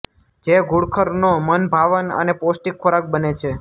જે ઘુડખરનો મનભાવન અને પૌષ્ટિક ખોરાક બને છે